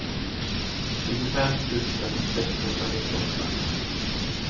tjugofem tusen sexhundranittioåtta